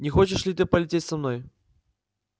не хочешь ли ты полететь со мной